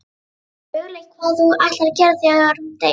Hefurðu hugleitt hvað þú ætlar að gera þegar hún deyr?